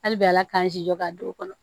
Hali bi ala k'an jija k'a don o kɔnɔ